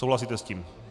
Souhlasíte s tím?